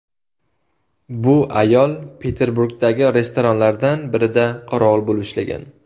Bu ayol Peterburgdagi restoranlardan birida qorovul bo‘lib ishlagan.